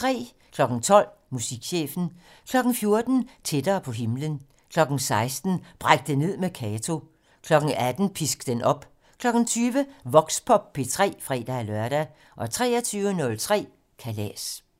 12:00: Musikchefen 14:00: Tættere på himlen 16:00: Bræk det ned med Kato 18:00: Pisk den op 20:00: Voxpop P3 (fre-lør) 23:03: Kalas